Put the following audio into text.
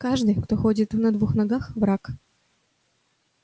каждый кто ходит на двух ногах враг